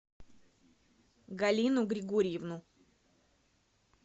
галину григорьевну